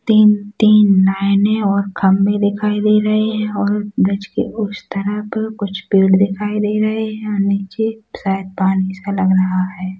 तीन-तीन नाईने और खंभे दिखाई दे रहै हैं और ब्रिज के उस तरफ कुछ पेड़ दिखाई दे रहै हैं नीचे शायद पानी सा लग रहा हैं।